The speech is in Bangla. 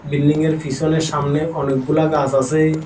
বিল্ডিংয়ের পিছনে সামনে অনেকগুলা গাছ আছে।